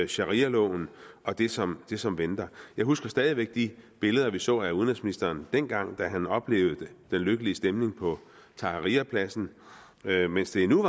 sharialoven og det som det som venter jeg husker stadig væk de billeder vi så af udenrigsministeren dengang han oplevede den lykkelige stemning på tahrirpladsen mens det endnu